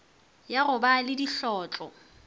ya go ba le dihlotlo